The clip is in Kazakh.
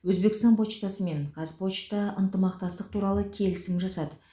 өзбекстан почтасы мен қазпошта ынтымақтастық туралы келісім жасады